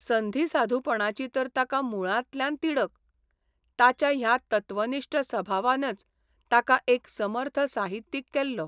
संधिसाधूपणाची तर ताका मुळांतल्यान तिडक, ताच्या ह्या तत्वनिश्ठ सभावानच ताका एक समर्थ साहित्यीक केल्लो.